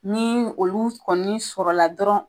Ni olu kɔni sɔrɔla dɔrɔn